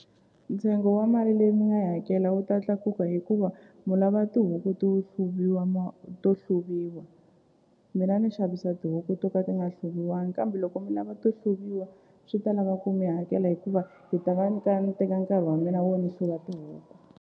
Ntsengo wa mali leyi mi nga yi hakela wu ta tlakuka hikuva mu lava tihuku to hluviwa to hluviwa mina ni xavisa tihuku to ka ti nga hluviwangi kambe loko mi lava ti hluviwa swi ta lava ku mi hakela hikuva hi ta va ni ka ni teka nkarhi wa mina wo ni hluva tihuku.